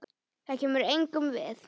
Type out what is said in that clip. Það kemur engum við.